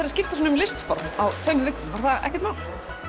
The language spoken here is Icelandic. að skipta svona um listform á tveimur vikum var það ekkert mál